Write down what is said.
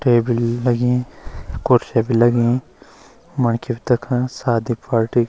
टेबल लगीं कुर्सी भी लगीं मनखी भी तख आया शादी पार्टी --